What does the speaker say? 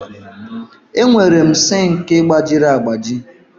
Enwere m sink gbajiri agbaji.